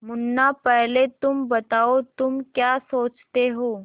मुन्ना पहले तुम बताओ तुम क्या सोचते हो